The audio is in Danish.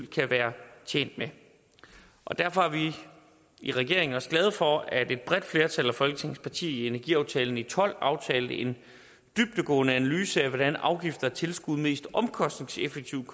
kan være tjent med derfor er vi i regeringen også glade for at et bredt flertal af folketingets partier i energiaftalen i tolv aftalte en dybdegående analyse af hvordan afgifter og tilskud mest omkostningseffektivt